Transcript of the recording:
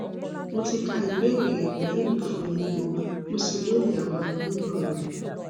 mo ti ka ìbéèrè rẹ pẹlú ìfòyemò mo sì lóye àwọn àníyàn rẹ